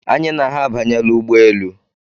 Anyị na ha abanyela ụgbọelu.